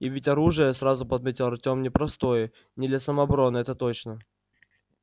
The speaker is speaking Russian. и ведь оружие сразу подметил артем непростое не для самообороны это точно